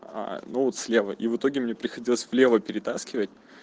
ну вот слева и в итоге мне приходилось влево перетаскивать